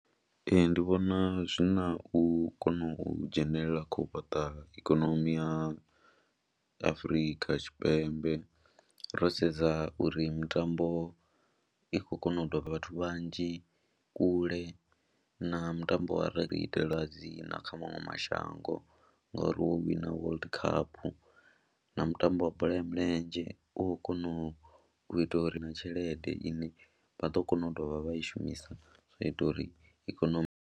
Ee, ndi vhona zwi na u kona u dzhenelela kha u fhaṱa ikonomi ya Afrika Tshipembe ro sedza uri mitambo i khou kona u doba vhathu vhanzhi kule na mutambo wa ra ri itela dzina kha maṅwe mashango ngori wo wina World Cup na mutambo wa bola ya milenzhe u khou kona u ita uri na tshelede ine vha ḓo kona u dovha vha i shumisa zwa ita uri ikonomi.